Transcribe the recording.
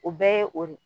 O bɛɛ ye o de ye